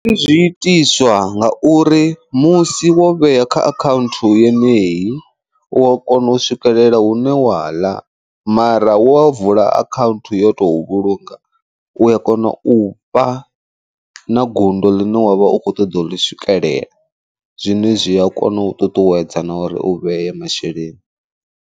Zwi itiswa nga uri musi wo vhea kha akhaunthu yeneyi u wa kona u swikelela hune wa ḽa, mara wa vula ahaunthu yo tou vhulunga u a kona u fha na gundo ḽine wavha u kho ṱoḓa u ḽi swikelela, zwine zwi a kona u ṱuṱuwedza na uri u vheye masheleni.